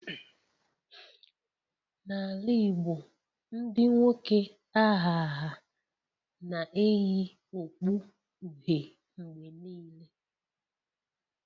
Na ala Igbo Ndị nwoke aha ya na-eyi okpu uhie mgbe niile